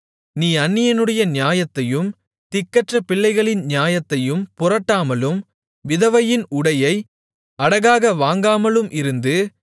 நீ அந்நியனுடைய நியாயத்தையும் திக்கற்ற பிள்ளையின் நியாயத்தையும் புரட்டாமலும் விதவையின் உடையை அடகாக வாங்காமலும் இருந்து